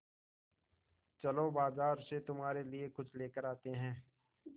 चलो बाज़ार से तुम्हारे लिए कुछ लेकर आते हैं